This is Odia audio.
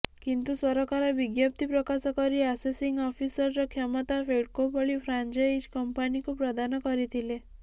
କିନ୍ତୁ ସରକାର ବିଜ୍ଞପ୍ତି ପ୍ରକାଶ କରି ଆସେସିଂ ଅଫିସର କ୍ଷମତା ଫେଡ୍କୋ ଭଳି ଫ୍ରାଞ୍ଜଇଜ୍ କମ୍ପାନିକୁ ପ୍ରଦାନ କରିଥିଲେ